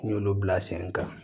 N y'olu bila sen kan